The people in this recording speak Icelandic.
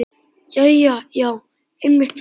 Jæja já, einmitt það.